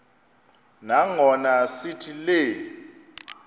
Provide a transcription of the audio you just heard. nangona sithi le